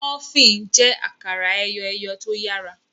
Múfìn jé akara eyọ eyọ tó yàrá.